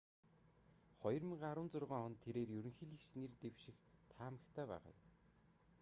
2016 онд тэрээр ерөнхийлөгчид нэр дэвших таамагтай байгаа юм